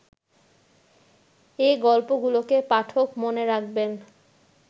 এ গল্পগুলোকে পাঠক মনে রাখবেন